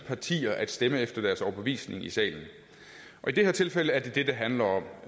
partier at stemme efter deres overbevisning i salen i det her tilfælde er det det det handler om